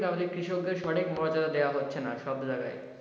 আমাদের কৃষক দের সঠিক মর্যাদা দেওয়া হচ্ছে না সব জায়গায়।